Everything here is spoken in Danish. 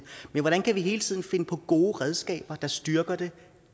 men hvordan kan vi hele tiden finde på gode redskaber der styrker det